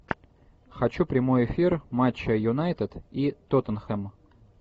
хочу прямой эфир матча юнайтед и тоттенхэм